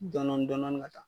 Dɔnɔni dɔnɔni ka taa